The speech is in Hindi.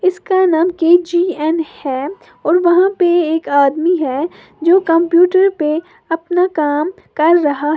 इसका नाम के_जी_एन है और वहां पे एक आदमी है जो कंप्यूटर पे अपना काम कर रहा है।